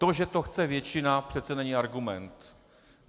To, že to chce většina, přece není argument.